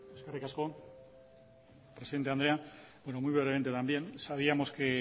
eskerik asko presidente andrea muy brevemente también sabíamos que